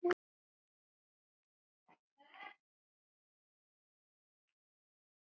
eftir Véstein Ólason.